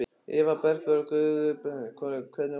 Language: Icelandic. Eva Bergþóra Guðbergsdóttir: Hvernig voru þær?